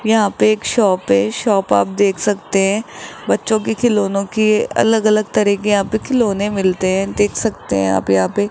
यहां पे एक शॉप है शॉप आप देख सकते हैं बच्चों के खिलौने की अलग-अलग तरह के यहां पे खिलौने मिलते हैं देख सकते हैं आप यहां पे --